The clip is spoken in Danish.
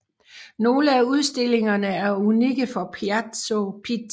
Nogle af udstillingerne er unikke for Palazzo Pitti